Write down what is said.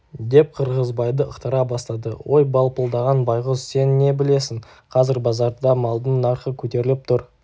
деп қырғызбайды ықтыра бастады ой балпылдаған байғұс сен не білесің қазір базарда малдың нарқы көтеріліп тұр